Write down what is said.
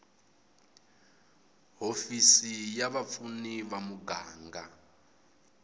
hofisi ya vapfuni ya muganga